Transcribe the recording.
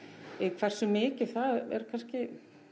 hversu mikið það er kannski